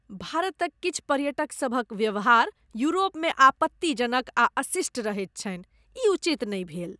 भारतक किछु पर्यटकसभक व्यवहार यूरोपमे आपत्तिजनक आ अशिष्ट रहैत छनि। ई उचित नहि भेल।